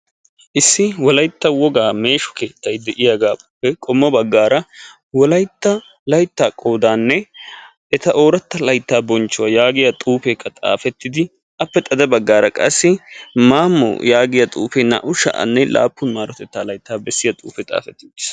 Issi wolaytta wogaa meeshu keettay de'iyaagaappe qommo baggaara wolaytta layttaa qoodaanne eta ooratta laittaa bonchchuwaa yaagiya xuufeekka xaafettidi appe xada baggaara qassi maammo yaagiya xuufee naa"u sha'anne laappun maarotettaa laittaa bessiya xuufe xaafettidi